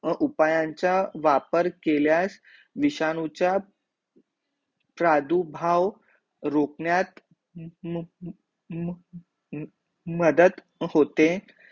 अ उपायांचा वापर केल्यास विषाणूचा, प्रादुभाव रोकण्यात म म म मदत होते